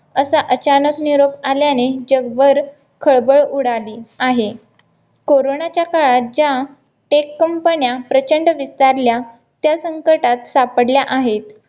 असा अचानक निरोप आल्याने जगभर खळबळ उडाली आहे कोरोनाच्या काळात ज्या Tech कंपन्या प्रचंड विस्तारल्या त्या संकटात सापडल्या आहेत